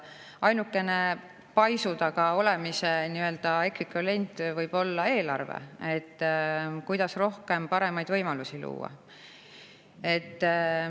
Ainukene paisu taga olemise nii-öelda ekvivalent võib olla eelarve, et kuidas rohkem paremaid võimalusi luua.